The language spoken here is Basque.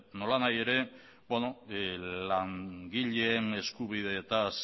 nolanahi ere langileen eskubideetaz